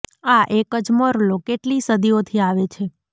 આ એક જ મોરલો કેટલીય સદીઓ થી આવે છે